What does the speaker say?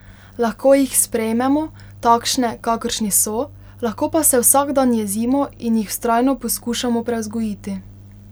Lahko jih sprejmemo, takšne, kakršni so, lahko pa se vsak dan jezimo in jih vztrajno poskušamo prevzgojiti.